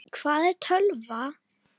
Hvað er tölva?